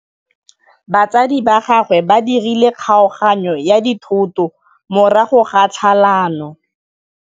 Batsadi ba gagwe ba dirile kgaoganyô ya dithoto morago ga tlhalanô.